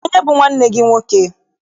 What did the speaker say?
Kedụ onye bụ nwanne gị nwoke?